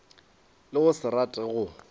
le go se rate go